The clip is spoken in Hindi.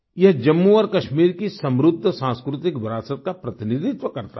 यह जम्मू और कश्मीर की समृद्ध सांस्कृतिक विरासत का प्रतिनिधित्व करता है